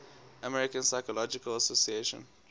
american psychological association